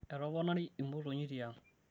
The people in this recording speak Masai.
etoponari imotonyi tiang